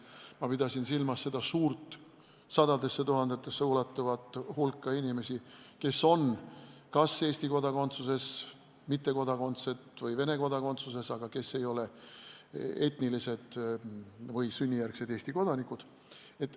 Ma pidasin silmas seda suurt, sadadesse tuhandetesse ulatuvat hulka inimesi, kes on kas Eesti kodakondsuses, mitte ühegi riigi kodanikud või Vene kodakondsuses, aga ei ole etnilised eestlased või sünnijärgsed Eesti kodanikud.